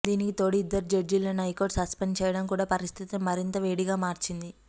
దీనికి తోడు ఇద్దరు జడ్జీలను హైకోర్టు సస్పెండ్ చేయడం కూడా పరిస్థితిని మరింత వేడిగా మార్చింది